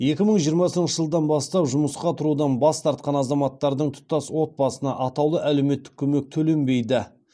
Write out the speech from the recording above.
екі мың жиырмасыншы жылдан бастап жұмысқа тұрудан бас тартқан азаматтардың тұтас отбасына атаулы әлеуметтік көмек төленбейді